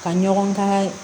Ka ɲɔgɔn dan